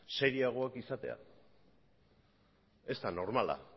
serioagoak izatea ez da normala